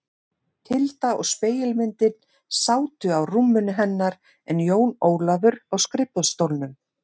Tilda og spegilmyndin sátu á rúminu hennar en Jón Ólafur á skrifborðsstólnum.